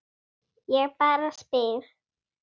Ég bara spyr